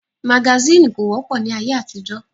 Magasínì kò wọ́pọ̀ ní ayé àtijọ́